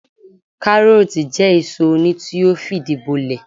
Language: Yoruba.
Káárótì jẹ́ èso oni tí ó fìdí bolẹ̀